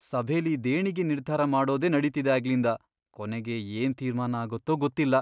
ಸಭೆಲಿ ದೇಣಿಗೆ ನಿರ್ಧಾರ ಮಾಡೋದೇ ನಡೀತಿದೆ ಆಗ್ಲಿಂದ.. ಕೊನೆಗೆ ಏನ್ ತೀರ್ಮಾನ ಆಗತ್ತೋ ಗೊತ್ತಿಲ್ಲ.